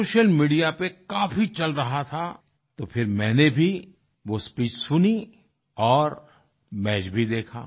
social media पर काफी चल रहा था तो फिर मैंने भी वो स्पीच सुनी और मैच भी देखा